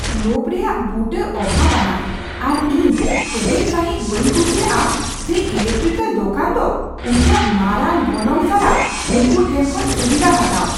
ᱞᱳᱵᱷ ᱨᱮᱭᱟᱜ ᱵᱩᱴᱟᱹ ᱚᱵᱷᱟᱵᱽ ᱟᱱᱟᱜ, ᱟᱨ ᱤᱧ ᱠᱮᱴᱮᱡ ᱥᱟᱹᱦᱤᱡ ᱵᱟᱹᱧ ᱠᱩᱥᱤᱭᱟᱜᱼᱟ ᱡᱮ ᱤᱞᱮᱠᱴᱨᱤᱠᱮᱞ ᱫᱚᱠᱟᱱ ᱫᱚ ᱩᱱᱠᱩᱭᱟᱜ ᱢᱟᱨᱟᱝ ᱜᱚᱱᱚᱝ ᱥᱟᱞᱟᱜ ᱩᱱᱠᱩ ᱴᱷᱮᱱ ᱠᱷᱚᱱ ᱥᱩᱵᱤᱫᱷᱟ ᱦᱟᱛᱟᱣ ᱾